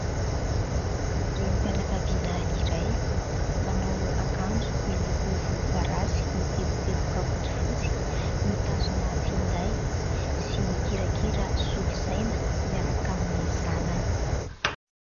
Renim-pianakaviana iray. Manao akanjo miloko volomparasy miteboteboka fotsifotsy, mitazona finday sy mikirakira solosaina miaraka amin'ny zanany.